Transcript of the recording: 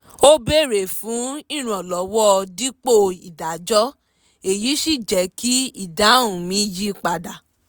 ó béèrè fún ìrànlọ́wọ́ dípò ìdájọ́ èyí sì jẹ́ kí ìdáhùn mi yí padà